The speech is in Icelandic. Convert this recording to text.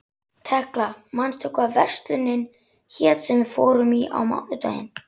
Tekla, manstu hvað verslunin hét sem við fórum í á mánudaginn?